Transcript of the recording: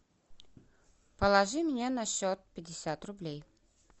положи мне на счет пятьдесят рублей